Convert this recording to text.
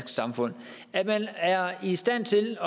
samfund at man er i stand til